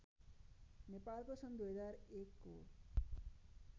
नेपालको सन् २००१ को